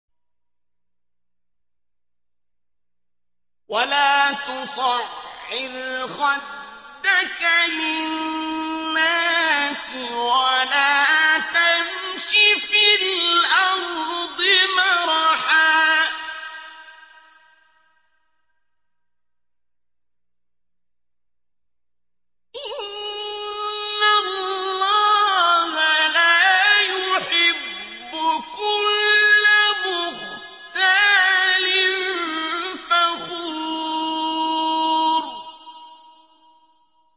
وَلَا تُصَعِّرْ خَدَّكَ لِلنَّاسِ وَلَا تَمْشِ فِي الْأَرْضِ مَرَحًا ۖ إِنَّ اللَّهَ لَا يُحِبُّ كُلَّ مُخْتَالٍ فَخُورٍ